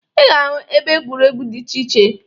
Ị ga-ahụ ebe egwuregwu dị iche iche.